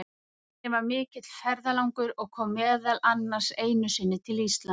Tinni var mikill ferðalangur og kom meðal annars einu sinni til Íslands.